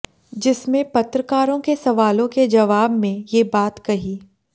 जिसमें पत्रकारों के सवालों के जवाब में ये बात कही